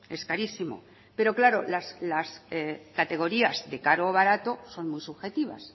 es carísimo pero claro las categorías de caro o barato son muy subjetivas